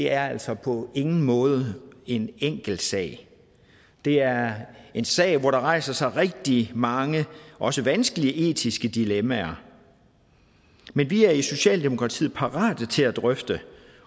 er altså på ingen måde en enkel sag det er en sag hvor der rejser sig rigtig mange også vanskelige etiske dilemmaer men vi er i socialdemokratiet parate til at drøfte